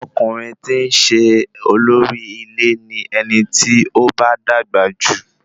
Ọkùnrin ti i ṣe olórí ilé ni ẹni tí ó bá dàgbà jù